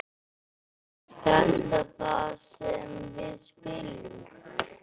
Er þetta þar sem við spilum?